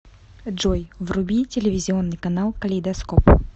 джой вруби телевизионный канал калейдоскоп